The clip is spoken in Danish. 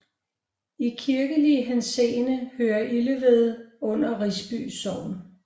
I kirkelig henseende hører Ileved under Risby Sogn